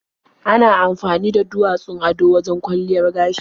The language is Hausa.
Ana amfani da duwatsun ado wajen kwalliyar gashi.